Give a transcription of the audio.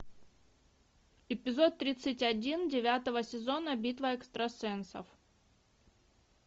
эпизод тридцать один девятого сезона битва экстрасенсов